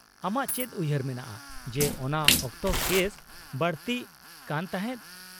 -ᱟᱢᱟᱜ ᱪᱮᱫ ᱩᱭᱦᱟᱹᱨ ᱢᱮᱱᱟᱜᱼᱟ ᱡᱮ ᱚᱱᱟ ᱚᱠᱛᱚ ᱠᱮᱥ ᱵᱟᱹᱲᱛᱤᱜ ᱠᱟᱱ ᱛᱟᱦᱮᱸᱫ ?